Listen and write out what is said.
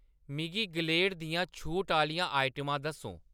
मिगी ग्लेड दियां छूट आह्‌‌‌लियां आइटमां दस्सो